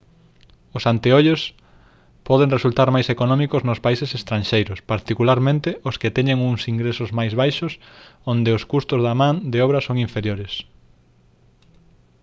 os anteollos poden resultar máis económicos nos países estranxeiros particularmente os que teñen uns ingresos máis baixos onde os custos da man de obra son inferiores